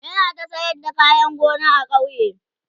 yana ta sayar da kayan gona a kauye